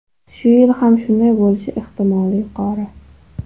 Shu yil ham shunday bo‘lishi ehtimoli yuqori.